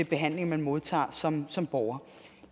behandling man modtager som som borger